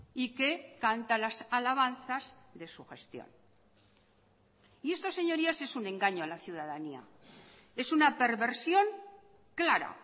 y que canta las alabanzas de su gestión y esto señorías es un engaño a la ciudadanía es una perversión clara